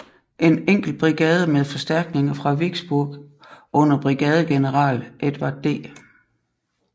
En enkelt brigade med forstærkninger fra Vicksburg under brigadegeneral Edward D